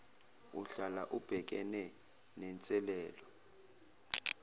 uhlala ubhekene nenselelo